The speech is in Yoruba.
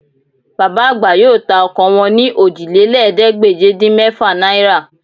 Bàbá àgbà yóò ta ọkọ wọn ní Òjìlélẹ́ẹ̀ẹ́dégbèje-dín-mẹ́fà náírà